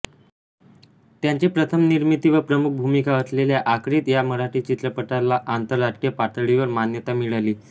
त्यांची प्रथम निर्मिती व प्रमुख भूमिका असलेल्या आक्रीत या मराठी चित्रपटाला आंतरराष्ट्रीय पातळीवर मान्यता मिळाली